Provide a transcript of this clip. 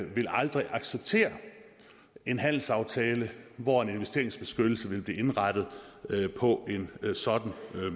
vil aldrig acceptere en handelsaftale hvor en investeringsbeskyttelse vil blive indrettet på en sådan